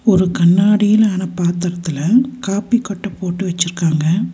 ஒரு கண்ணாடியிலான பாத்திரத்துல காபி கொட்ட போட்டு வச்சுர்க்காங்க.